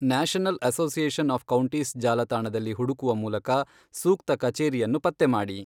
National Association of Counties ಜಾಲತಾಣದಲ್ಲಿ ಹುಡುಕುವ ಮೂಲಕ ಸೂಕ್ತ ಕಚೇರಿಯನ್ನು ಪತ್ತೆ ಮಾಡಿ.